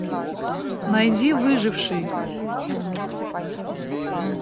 найди выживший